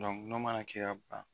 n'o mana kɛ i y'a bila